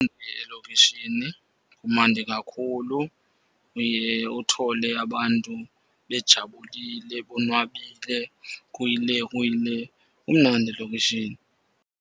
Elokishini kumandi kakhulu. Uye uthole abantu bejabulile, bonwabile kuyile, kuyile. Kumnandi elokishini.